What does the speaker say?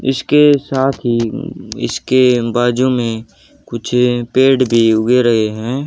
इसके साथ ही उम्म इसके बाजू में कुछ पेड़ भी उगे रहे हैं।